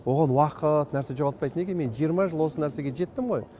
оған уақыт нәрсе жоғалтпайды неге мен жиырма жыл осы нәрсеге жеттім ғой